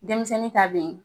Denmisɛnnin ta bɛ ye.